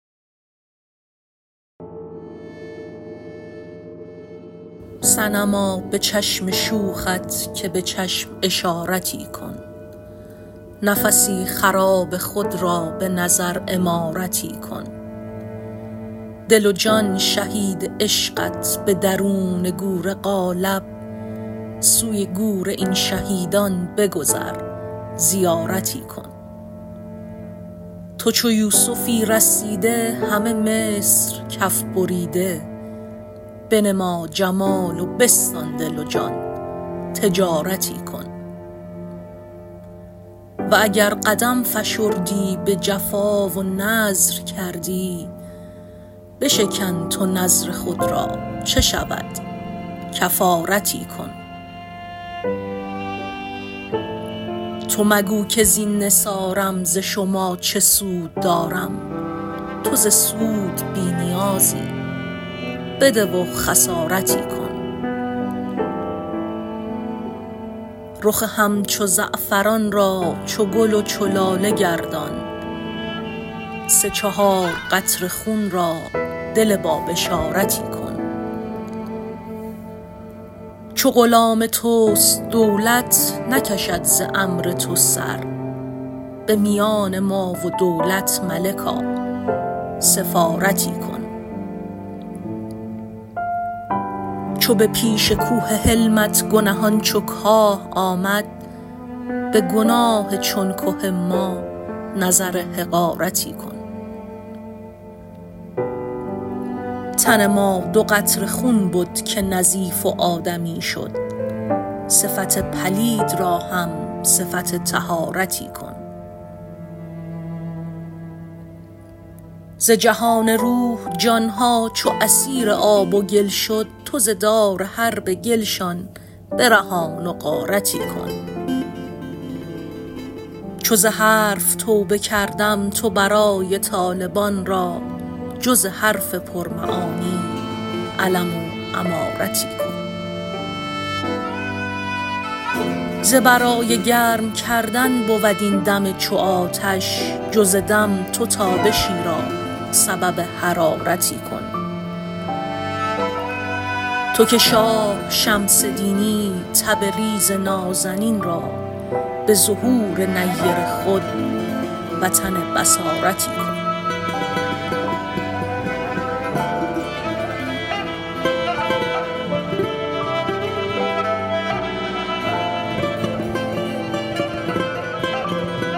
صنما به چشم شوخت که به چشم اشارتی کن نفسی خراب خود را به نظر عمارتی کن دل و جان شهید عشقت به درون گور قالب سوی گور این شهیدان بگذر زیارتی کن تو چو یوسفی رسیده همه مصر کف بریده بنما جمال و بستان دل و جان تجارتی کن و اگر قدم فشردی به جفا و نذر کردی بشکن تو نذر خود را چه شود کفارتی کن تو مگو کز این نثارم ز شما چه سود دارم تو ز سود بی نیازی بده و خسارتی کن رخ همچو زعفران را چو گل و چو لاله گردان سه چهار قطره خون را دل بابشارتی کن چو غلام توست دولت نکشد ز امر تو سر به میان ما و دولت ملکا سفارتی کن چو به پیش کوه حلمت گنهان چو کاه آمد به گناه چون که ما نظر حقارتی کن تن ما دو قطره خون بد که نظیف و آدمی شد صفت پلید را هم صفت طهارتی کن ز جهان روح جان ها چو اسیر آب و گل شد تو ز دار حرب گلشان برهان و غارتی کن چو ز حرف توبه کردم تو برای طالبان را جز حرف پرمعانی علم و امارتی کن ز برای گرم کردن بود این دم چو آتش جز دم تو تابشی را سبب حرارتی کن تو که شاه شمس دینی تبریز نازنین را به ظهور نیر خود وطن بصارتی کن